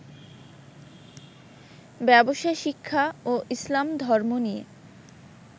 ব্যবসাশিক্ষা ও ইসলাম ধর্ম নিয়ে